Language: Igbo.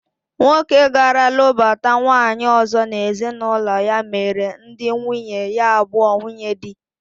Nwoke gara lụbata nwaanyị ọzọ n'ezinụlọ ya mere ndị nwunye ya abụọ nwunyedi